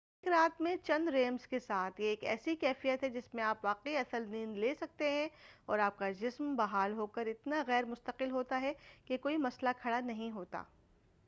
ایک رات میں چند ریمز کے ساتھ یہ ایک ایسی کیفیت ہے جس میں آپ واقعی اصل نیند لے سکتے ہیں اور آپ کا جِسم بحال ہوکر اتنا غیرمستقل ہوتا ہے کہ کوئی مسئلہ کھڑا نہیں ہوتا